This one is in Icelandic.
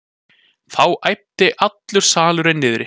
Þá æpti allur salurinn niðri.